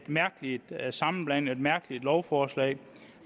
mærkelig sammenblanding et mærkeligt lovforslag